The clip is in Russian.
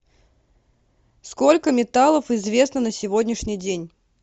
сколько металлов известно на сегодняшний день